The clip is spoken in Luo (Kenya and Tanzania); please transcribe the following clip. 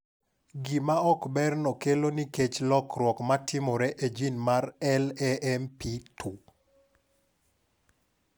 Gima ok berno kelo nikech lokruok ma timore e jin mar LAMP2.